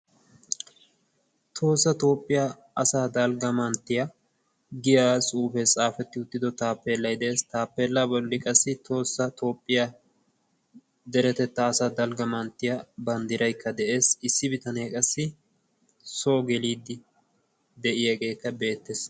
"tohossa toophphiyaa asaa dalgga manttiya" giya xuufee xaafetti uttido taappeellay de7ees. taappeella bolli qassi tohossa toophphiyaa deretettaa asa dalgga manttiya banddiraykka de7ees. issi bitanee qassi soo geliiddi de7iyaageekka beettees.